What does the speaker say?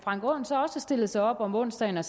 stillet sig op om onsdagen og